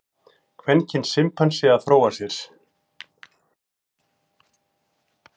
Kvenkyns simpansi að fróa sér.